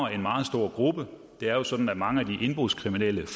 en meget stor gruppe det er jo sådan at mange af de indbrudskriminelle